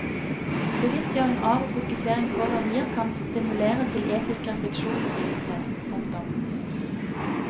Bevisstgjøring av og fokusering på verdier kan stimulere til etisk refleksjon og bevissthet. punktum